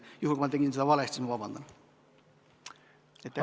Juhul kui ma tegin seda valesti, siis vabandage!